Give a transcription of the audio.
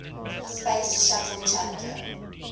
space shuttle challenger